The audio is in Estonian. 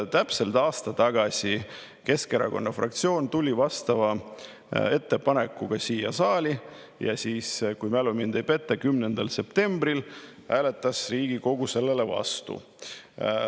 Täpselt aasta tagasi Keskerakonna fraktsioon tuli samasuguse ettepanekuga siia saali ja siis, kui mu mälu mind ei peta, 10. septembril hääletas Riigikogu sellele vastu.